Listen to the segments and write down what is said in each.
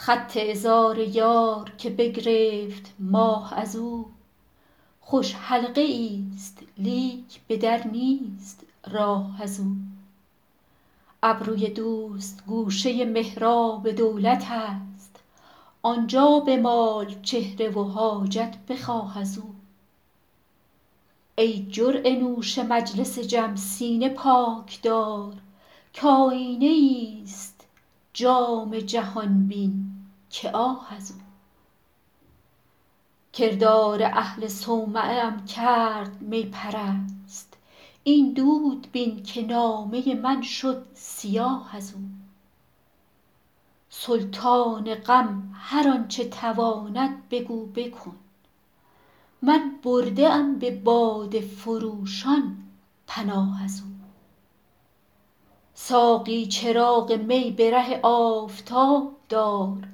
خط عذار یار که بگرفت ماه از او خوش حلقه ای ست لیک به در نیست راه از او ابروی دوست گوشه محراب دولت است آن جا بمال چهره و حاجت بخواه از او ای جرعه نوش مجلس جم سینه پاک دار کآیینه ای ست جام جهان بین که آه از او کردار اهل صومعه ام کرد می پرست این دود بین که نامه من شد سیاه از او سلطان غم هر آن چه تواند بگو بکن من برده ام به باده فروشان پناه از او ساقی چراغ می به ره آفتاب دار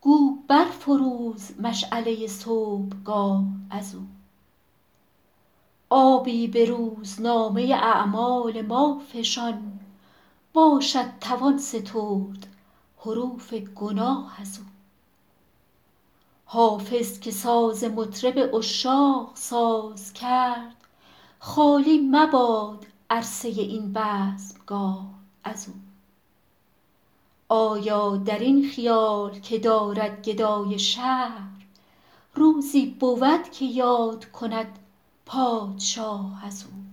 گو بر فروز مشعله صبحگاه از او آبی به روزنامه اعمال ما فشان باشد توان سترد حروف گناه از او حافظ که ساز مطرب عشاق ساز کرد خالی مباد عرصه این بزمگاه از او آیا در این خیال که دارد گدای شهر روزی بود که یاد کند پادشاه از او